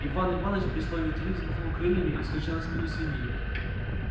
иван иваныч при слове три взмахнул крыльями и вскочил на спину свиньи